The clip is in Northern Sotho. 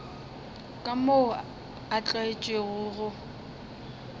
ka moo a tlwaetšego go